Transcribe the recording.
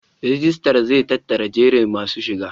Rijistar zai tattara jerin masu shiga.